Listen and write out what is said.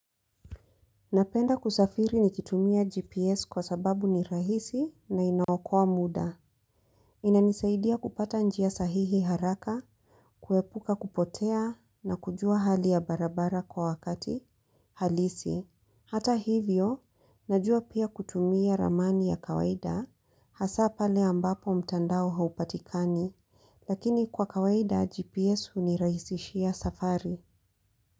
Napenda kusafiri nikitumia GPS kwa sababu ni rahisi na inaokoa muda. Inanisaidia kupata njia sahihi haraka, kuepuka kupotea na kujua hali ya barabara kwa wakati halisi. Hata hivyo, najua pia kutumia ramani ya kawaida hasa pale ambapo mtandao haupatikani lakini kwa kawaida GPS unirahisishia safari.